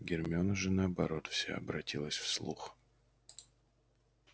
гермиона же наоборот вся обратилась в слух